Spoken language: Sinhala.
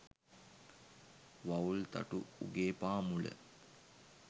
වවුල් තටු උගේ පාමුල